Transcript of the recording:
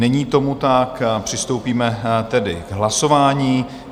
Není tomu tak, přistoupíme tedy k hlasování.